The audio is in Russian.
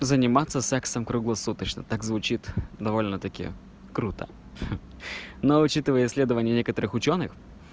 заниматься сексом круглосуточно так звучит довольно-таки круто но учитывая исследование некоторых учёных